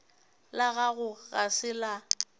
la gago ga se la